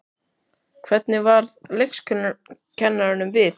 Hvernig varð leikskólakennurunum við?